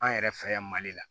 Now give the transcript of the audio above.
An yɛrɛ fɛ yan mali la